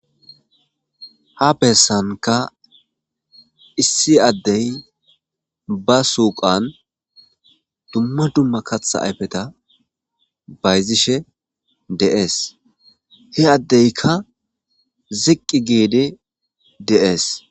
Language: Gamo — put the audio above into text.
Ha besanka issi addey ba suyqiyanka dumma dumma kaththa ayfe bayzishe de'es he addeyka ziqi gidi de'es.